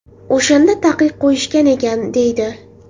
O‘shanda taqiq qo‘yishgan ekan, deydi.